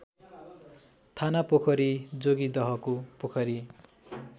थानापोखरी जोगिदहको पोखरी